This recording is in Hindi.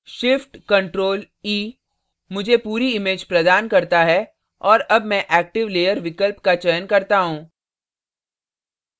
shift + ctrl + e मुझे पूरी image प्रदान करता है और अब मैं active layer विकल्प का चयन करता हूँ